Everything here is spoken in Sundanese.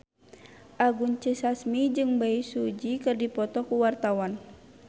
Anggun C. Sasmi jeung Bae Su Ji keur dipoto ku wartawan